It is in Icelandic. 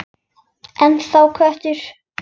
Ennþá köttur.